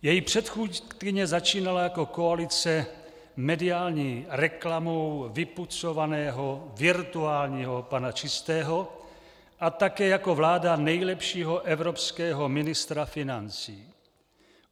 Její předchůdkyně začínala jako koalice mediální reklamou vypucovaného virtuálního pana Čistého a také jako vláda nejlepšího evropského ministra financí.